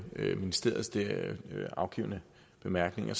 ministeriets afgivne bemærkninger